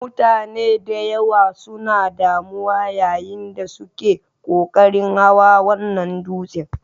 Mutane da yawa suna damuwa yayin da suke ƙoƙarin hawan wannan dutsen.